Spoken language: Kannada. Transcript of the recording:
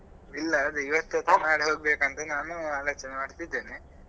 ಇಲ್ಲ ಅದೇ ಇವತ್ತು ಅಥವಾ ನಾಳೆ ಹೋಗ್ಬೆಕಂತಾ ನಾನು ಆಲೋಚನೆ ಮಾಡ್ತಾ ಇದ್ದೇನೆ.